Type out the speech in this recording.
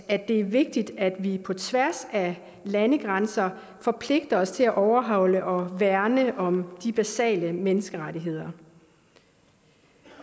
at det er vigtigt at vi på tværs af landegrænser forpligter os til at overholde og værne om de basale menneskerettigheder